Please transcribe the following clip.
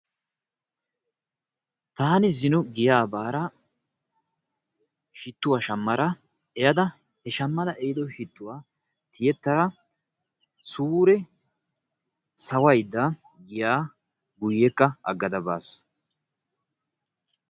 Taani zino giyaa baara shittuwa shammara ehiddo shittuwa tiyettada suure sawaydda giya agada guyyekka baas.